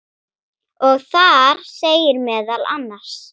og þar segir meðal annars